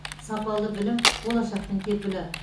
сапалы білім болашақтың кепілі